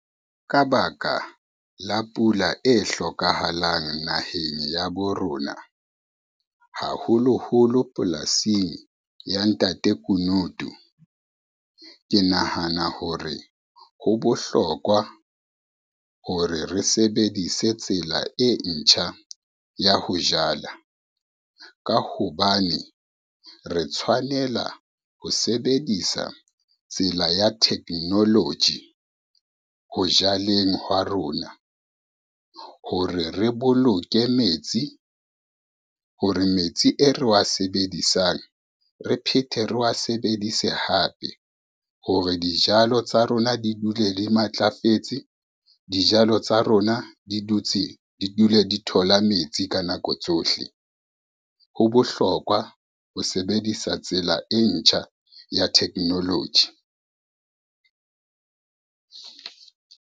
Ka baka la pula e hlokahalang naheng ya bo rona, haholoholo polasing ya ntate Kunutu. Ke nahana hore ho bohlokwa hore re sebedise tsela e ntjha ya ho jala, ka hobane re tshwanela ho sebedisa tsela ya technology ho jaleng hwa rona. Hore re boloke metsi, hore metsi e re wa sebedisang, re phethe re wa sebedise hape hore dijalo tsa rona di dule di matlafetse, dijalo tsa rona di dule di thola metsi ka nako tsohle. Ho bohlokwa ho sebedisa tsela e ntjha ya technology.